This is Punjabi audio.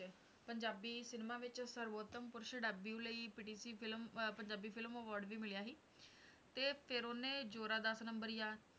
ਪੰਜਾਬੀ ਸਿਨੇਮਾ ਵਿੱਚ ਸਰਵੋਤਮ ਪੁਰਸ਼ debut ਲਈ PTC film ਅਹ ਪੰਜਾਬੀ film award ਵੀ ਮਿਲਿਆ ਸੀ, ਤੇ ਫਿਰ ਉਹਨੇ ਜ਼ੋਰਾ ਦਸ ਨੰਬਰੀਆ,